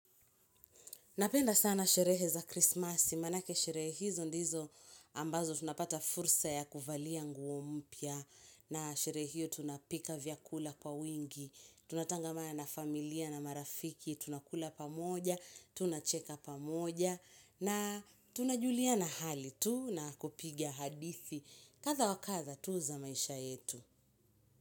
Napenda sana sherehe za krismasi, maanake sherehe hizo ndizo ambazo tunapata fursa ya kuvalia nguo mpya, na sherehe hiyo tunapika vyakula kwa wingi, tunatangamana na familia na marafiki, tunakula pamoja, tunacheka pamoja, na tunajuliana hali tu na kupiga hadithi kadha wa kadha tu za maisha yetu.